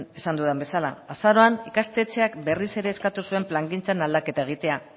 esan dudan bezala azaroan ikastetxeak berriz ere eskatu zuen plangintzan aldaketa egitea